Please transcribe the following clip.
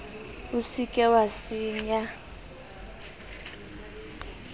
o se ke wa senya